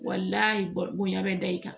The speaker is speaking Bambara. bonya bɛ da i kan